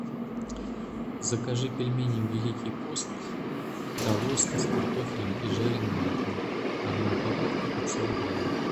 закажи пельмени великий пост талосто с картофелем и жареным луком одну упаковку пятьсот грамм